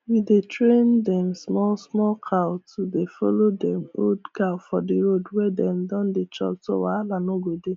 we dey train dem small small cow to dey follow dem old cow for the road wey dem dey chop so wahala no go dey